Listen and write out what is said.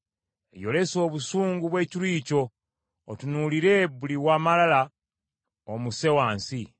Yolesa obusungu bw’ekiruyi kyo otunuulire buli wa malala omusse wansi.